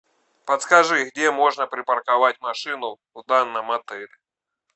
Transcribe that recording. подскажи где можно припарковать машину в данном отеле